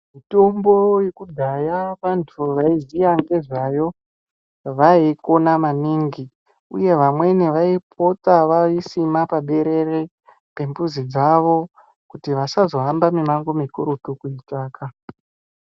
Mitombo yekudhaya vantu vaiziya ngezvayo vaikoshesa yeikona maningi uye vamweni vaipota vaisina paberere pemizi dzawo kuti vasazohamba mumango mukurutu kuitsvaka .